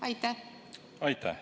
Aitäh!